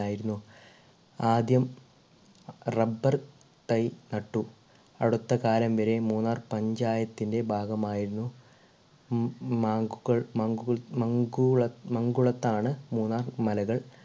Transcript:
ആയിരുന്നു ആദ്യം rubber തൈ നട്ടു അടുത്തകാലം വരെ മൂന്നാർ പഞ്ചായത്തിൻ്റെ ഭാഗം ആയിരുന്നു ഈ മ് മാങ്കുകൾ മങ്കു മാങ്കുള മംഗുളത്താണ് മൂന്നാർ മലകൾ